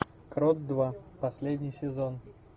крот два последний сезон